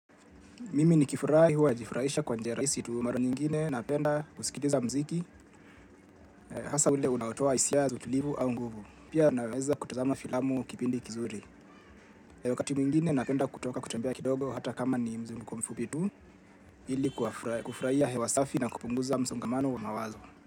Mimi nikifurahi huwa najifurahisha kwa njia rahisi tu mara nyingine napenda kusikiliza mziki hasa ule unaotoa hisia za utulivu au nguvu. Pia naweza kutazama filamu kipindi kizuri. Wakati mwingine napenda kutoka kutembea kidogo hata kama ni mzunguko mfupi tu ili kufurahia hewa safi na kupunguza msongamano wa mawazo.